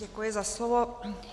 Děkuji za slovo.